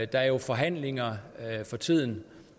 der er jo forhandlinger for tiden